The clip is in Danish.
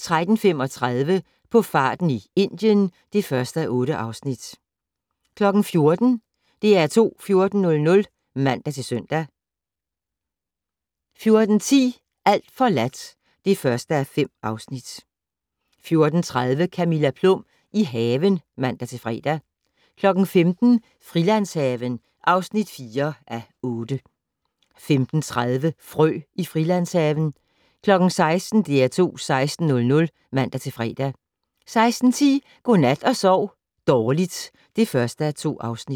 13:35: På farten i Indien (1:8) 14:00: DR2 14:00 (man-søn) 14:10: Alt forladt (1:5) 14:30: Camilla Plum - i haven (man-fre) 15:00: Frilandshaven (4:8) 15:30: Frø i Frilandshaven 16:00: DR2 16:00 (man-fre) 16:10: Godnat og sov dårligt (1:2)